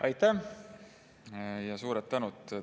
Aitäh, suur tänu!